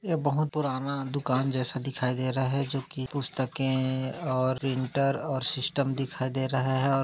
यह बहुत पुराना दुकान जैसा दिख रहा है जो की पुस्तके और प्रिंटर और सिस्टम जैसा दिखाई दे रहा है और--